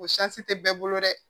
O tɛ bɛɛ bolo dɛ